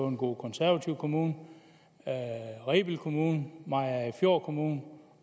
en god konservativ kommune rebild kommune mariagerfjord kommune